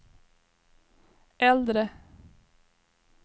äldre